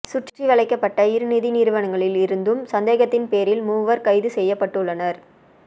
சுற்றிவளைக்கப்பட்ட இரு நிதி நிறுவனங்களில் இருந்தும் சந்தேகத்தின் பேரில் மூவர் கைது செய்யப்பட்டுள்ளனர்